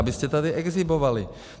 Abyste tady exhibovali.